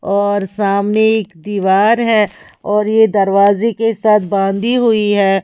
और सामने एक दीवार है और ये दरवाजे के साथ बांधी हुई है।